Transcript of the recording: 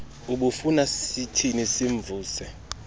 ubufuna sithini simvuse